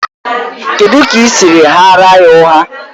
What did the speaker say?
Kedụ ka i siri ghaara ya ụgha?